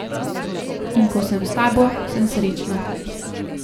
In ko sem s tabo, sem srečna.